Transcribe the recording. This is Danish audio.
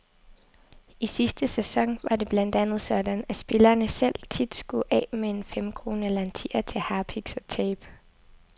I sidste sæson var det blandt andet sådan, at spillerne selv tit skulle af med en femkrone eller en tier til harpiks og tape.